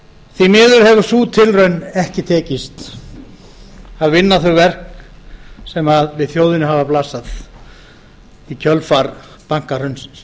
því miður hefur sú tilraun ekki tekist að vinna þau verk sem við þjóðinni hafa blasað í kjölfar bankahrunsins